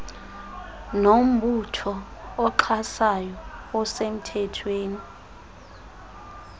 nombutho oxhasayo osemthethweni